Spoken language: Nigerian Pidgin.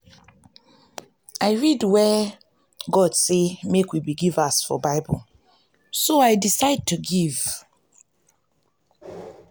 i read where god say make we be givers for bible so i decide to give